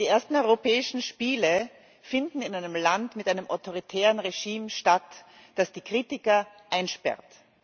Die ersten europäischen Spiele finden in einem Land mit einem autoritären Regime statt, das die Kritiker einsperrt.